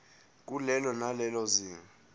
kulelo nalelo zinga